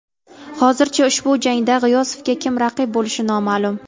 Hozircha ushbu jangda G‘iyosovga kim raqib bo‘lishi noma’lum.